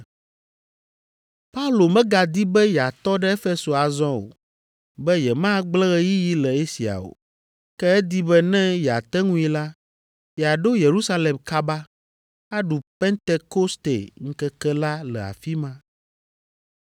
Paulo megadi be yeatɔ ɖe Efeso azɔ o, be yemagblẽ ɣeyiɣi le Asia o. Ke edi be ne yeate ŋui la, yeaɖo Yerusalem kaba, aɖu Pentekoste ŋkeke la le afi ma.